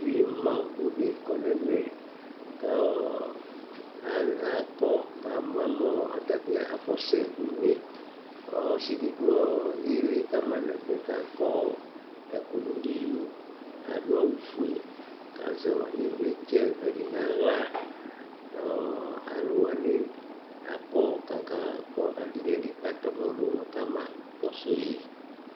Ɩma bʋdɩ kɔ n'ɛmɛ :k'a ɔɔ a akɔ k'ama mʋ ɔɔ ata bɩ afɔ sɛ une K'ɔsɩdɩ dʋ ɔɔ ɩɩlɩ kama n'ɛfɛ k'akɔ ɔ ɛkʋdʋ n'iyo , k'adʋ awʋfue , k'azɛ ɩvlɩtsɛvɛ dɩ n'aɣla Ɔɔ alʋ wanɩ kɔ , k'aka kʋ ɛdɩ n'ɛdɩ katɛɔmɔ dʋ nʋ kama kɔsʋ yɩ